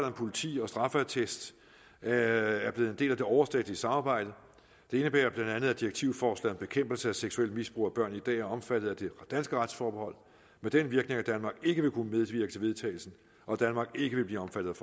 om politi og straffeattest er er blevet en del af det overstatlige samarbejde det indebærer bla at direktivforslaget om bekæmpelse at seksuelt misbrug af børn i dag er omfattet af det danske retsforbehold med den virkning at danmark ikke vil kunne medvirke til vedtagelsen og at danmark ikke vil blive omfattet